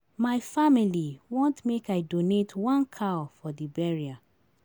My family want make I donate one cow for di burial.